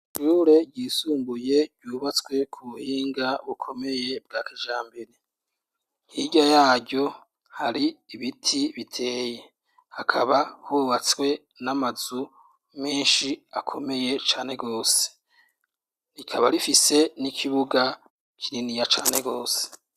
ishure ryisumbuye ryubatswe ku buhinga bukomeye bwa kijambere hirya yaryo hari ibiti biteye hakaba hubatswe n'amazu menshi akomeye cane gose rikaba rifise n'ikibuga kininiya cane gose